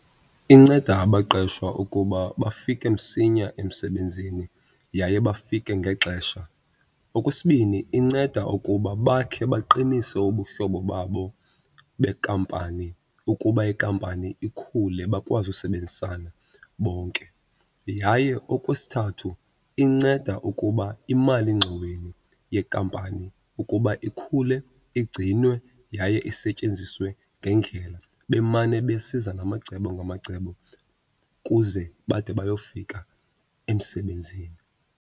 Inceda abaqeshwa ukuba bafike msinya emsebenzini yaye bafike ngexesha. Okwesibini, inceda ukuba bakhe baqinise ubuhlobo babo bekampani ukuba ikampani ikhule bakwazi usebenzisana bonke. Yaye okwesithathu, inceda ukuba imalingxoweni yekampani ukuba ikhule, igcinwe, yaye isetyenziswe ngendlela, bemane besiza namacebo ngamacebo kuze bade bayofika emsebenzini.